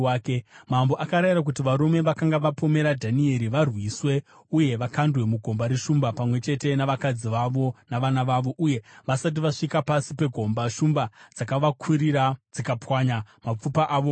Mambo akarayira kuti varume vakanga vapomera Dhanieri varwiswe, uye kuti vakandwe mugomba reshumba, pamwe chete navakadzi vavo navana vavo. Uye vasati vasvika pasi pegomba, shumba dzakavakurira dzikapwanya mapfupa avo ose.